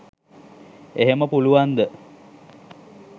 එහෙම පුළුවන්ද